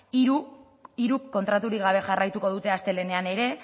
hiruk kontraturik gabe jarraituko dute astelehenean ere